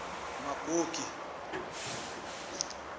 magoge